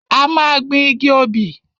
A máa gbin igi obì.